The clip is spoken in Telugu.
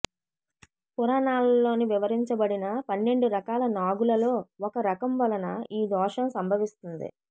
పురాణాలలో వివరించబడిన పన్నెండు రకాల నాగులలో ఒక రకం వలన ఈ దోషం సంభవిస్తుంది